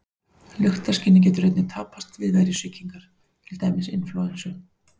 Lyktarskynið getur einnig tapast við veirusýkingar, til dæmis inflúensu.